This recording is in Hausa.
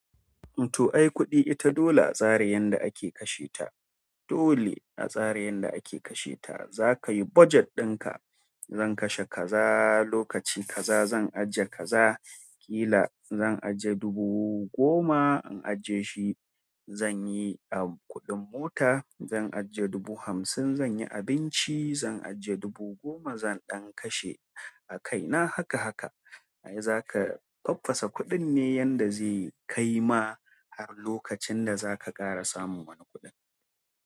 To ai kuɗi ita dole a tsari yanda ake kashe ta. Dole a tsara yanda ake kashe ta. Za ka yi budget ɗin ka. Zan kashe ka za, lokaci ka za zan ajiye kaza. Ƙila zan ajiye dubu goma in ajiye shi zan yi a kuɗin mota. Zan ajiye dubu hamsin zan yi abinci. Zan ajiye dubu goma zan ɗan kashe a kaina haka haka. Ai za ka faffasa kuɗin ne yanda zai kai ma har lokacin da za ka ƙara samun wani kuɗin.